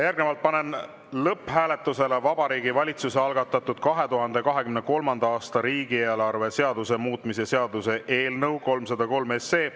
Järgnevalt panen lõpphääletusele Vabariigi Valitsuse algatatud 2023. aasta riigieelarve seaduse muutmise seaduse eelnõu 303.